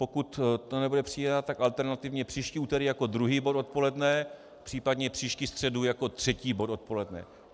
Pokud to nebude přijato, tak alternativně příští úterý jako druhý bod odpoledne, případně příští středu jako třetí bod odpoledne.